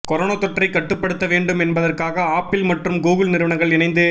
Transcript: corona தொற்றை கட்டுப்படுத்தவேண்டும் என்பதற்காக ஆப்பிள் மற்றும் கூகுள் நிறுவனங்கள் இணைந்து